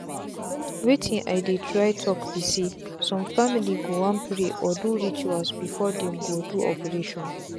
wetin i dey try talk be saysome family go wan pray or do rituals before them go do operation.